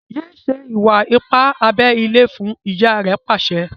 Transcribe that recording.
yé ṣe Iwa-ipa abé ilé fún! ìyá rẹ pàṣẹ.